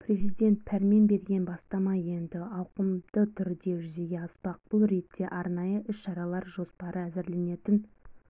президент пәрмен берген бастама енді ауқымды түрде жүзеге аспақ бұл ретте арнайы іс-шаралар жоспары әзірленетін